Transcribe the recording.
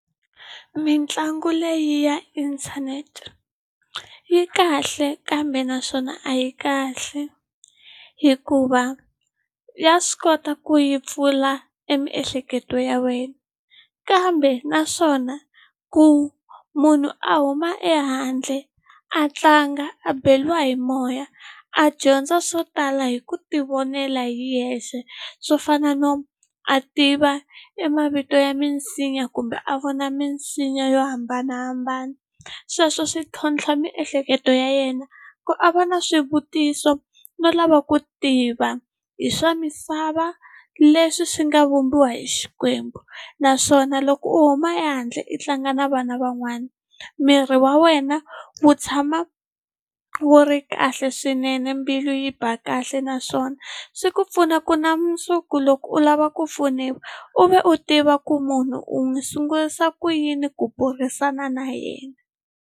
Mitlangu leyi ya inthanete yi kahle kambe naswona a yi kahle hikuva ya swi kota ku yi pfula e miehleketo ya wena kambe naswona ku munhu a huma ehandle a tlanga a beriwa hi moya a dyondza swo tala hi ku tivonela hi yexe swo fana no a tiva e mavito ya minsinya kumbe a vona minsinya yo hambanahambana sweswo swi tlhontlha miehleketo ya yena ku a va na swivutiso no lava ku tiva hi swa misava leswi swi nga vumbiwa hi Xikwembu naswona loko u huma ehandle i tlanga na vana van'wana miri wa wena wu tshama wu ri kahle swinene mbilu yi ba kahle naswona swi ku pfuna ku na mundzuku loko u lava ku pfuniwa u ve u tiva ku munhu u n'wi sungurisa ku yini ku burisana na yena.